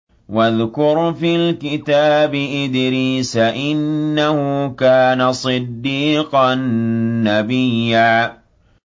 وَاذْكُرْ فِي الْكِتَابِ إِدْرِيسَ ۚ إِنَّهُ كَانَ صِدِّيقًا نَّبِيًّا